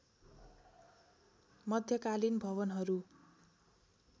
मध्यकालीन भवनहरू